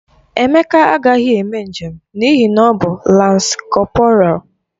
Emeka agaghị eme njem n'ihi na ọ bụ lans kọporal.